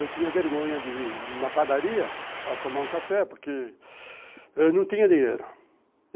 Eu tinha vergonha de ir na padaria para tomar um café porque eu não tinha dinheiro.